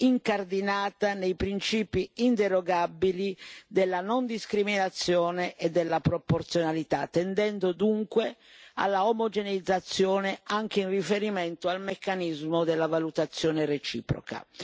incardinata nei principi inderogabili della non discriminazione e della proporzionalità, tendendo dunque alla omogeneizzazione anche in riferimento al meccanismo della valutazione reciproca.